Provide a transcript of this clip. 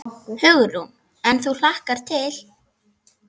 Hugrún: En þú hlakkar til?